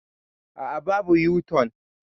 Aa, babu yo-tun